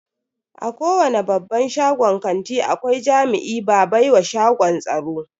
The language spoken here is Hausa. A kowani babban shagon kanti akwai jami'i ba baiwa shagon tsaro.